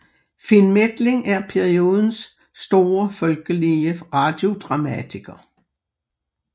Finn Methling er periodens store folkelige radiodramatiker